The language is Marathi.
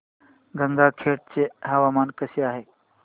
गंगाखेड चे हवामान कसे आहे